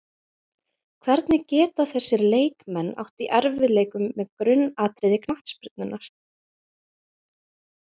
Hvernig geta þessir leikmenn átt í erfiðleikum með grunnatriði knattspyrnunnar?